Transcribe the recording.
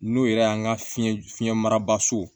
N'o yɛrɛ y'an ka fiɲɛ fiɲɛ marabaso